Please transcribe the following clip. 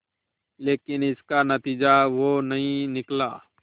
लेकिन इसका नतीजा वो नहीं निकला